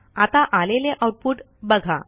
आता आलेले आऊटपुट बघा